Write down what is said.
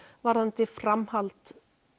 varðandi framhald